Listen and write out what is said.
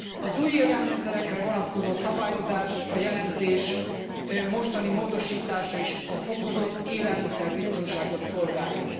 Az új élelmiszerekre vonatkozó szabályozás, a jelentés mostani módosítása is a fokozott élelmiszer biztonságot szolgálja.